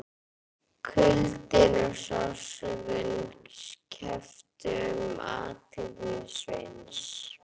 Kuldinn og sársaukinn kepptu um athygli Sveins.